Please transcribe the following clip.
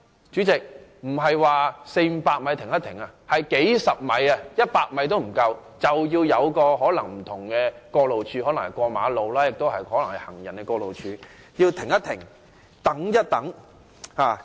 主席，並非四五百米要停一下，而是不足一百米，甚至只是數十米，便因有行人過路處或馬路而需要"停一停，等一等"。